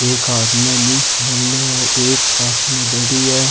एक हाथ में एक हाथ में धरि है।